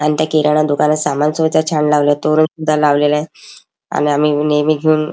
आणि त्या किराणा दुकानात सामान सुद्धा छान लावलेल तोरण सुद्धा लावलेलय आणि आम्ही नेहमी घेऊन--